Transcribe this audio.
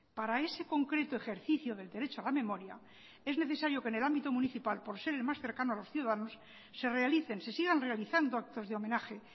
para ese concreto ejercicio del derecho a la memoria es necesario que en el ámbito municipal por ser el más cercano a los ciudadanos se realicen se sigan realizando actos de homenaje